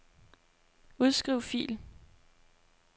Udskriv fil.